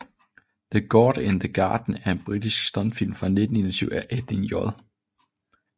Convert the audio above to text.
The God in the Garden er en britisk stumfilm fra 1921 af Edwin J